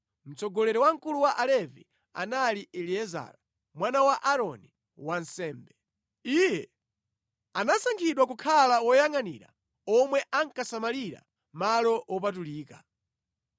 Mtsogoleri wamkulu wa Alevi anali Eliezara mwana wa Aaroni wansembe. Iye anasankhidwa kukhala woyangʼanira omwe ankasamalira malo wopatulika.